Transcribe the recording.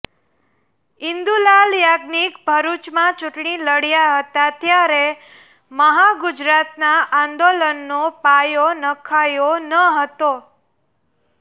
ઇન્દુલાલ યાજ્ઞિાક ભરૂચમાં ચૂંટણી લડયા હતા ત્યારે મહાગુજરાતના આંદોલનનો પાયો નંખાયો ન હતો